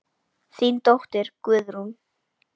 Þín dóttir, Guðrún.